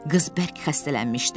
Qız bərk xəstələnmişdi.